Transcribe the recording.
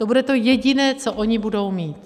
To bude to jediné, co oni budou mít.